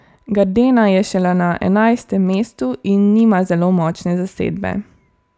Gardena je šele na enajstem mestu in nima zelo močne zasedbe.